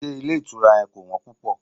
Ṣé ilé ìtura yẹn kò wọ́n púpò?